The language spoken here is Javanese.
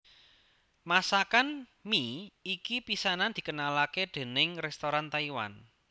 Masakan mi iki pisanan dikenalake déning restoran Taiwan